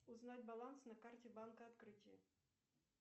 узнать баланс на карте банка открытие